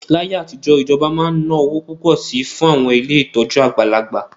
Láyé àtijọ́, ìjọba máa ń ná owó púpọ̀ sí i fún àwọn ilé ìtọ́jú àgbàlagbà